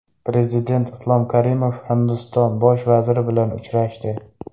Prezident Islom Karimov Hindiston Bosh vaziri bilan uchrashdi.